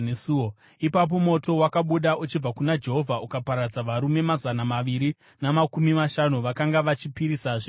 Ipapo moto wakabuda uchibva kuna Jehovha ukaparadza varume mazana maviri namakumi mashanu vakanga vachipisira zvinonhuhwira.